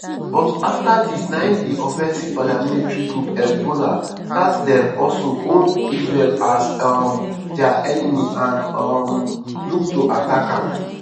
but afta dis na im di offensive paramilitary group hezbollah start dem also hold israel as um dia enemy and um look to attack am.